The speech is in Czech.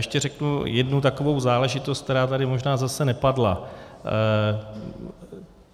Ještě řeknu jednu takovou záležitost, která tady možná zase nepadla.